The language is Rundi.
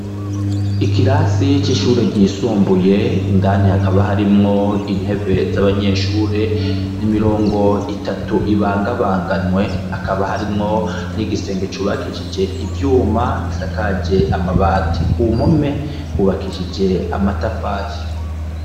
Ikirasi c'ishure ryisumbuye indani hakaba harimwo intebe z'abanyeshure ,n'imirongo itatu ibangabanganwe hakaba harimwo n'igisenge cubakishije ivyuma gisakaje amabati . Ku mpome hubakishije amatafari.